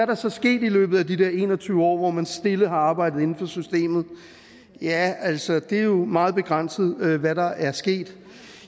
der så sket i løbet af de en og tyve år hvor man stille har arbejdet inden for systemet ja altså det er jo meget begrænset hvad der er sket